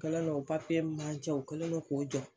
Kɛlen no o papiye min b'an cɛ u kɛlen no k'o jɔ.